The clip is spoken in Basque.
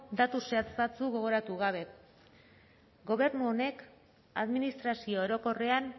datu zehatz batzuk gogoratu gabe gobernu honek administrazio orokorrean